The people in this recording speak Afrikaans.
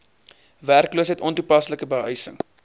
werkloosheid ontoepaslike behuising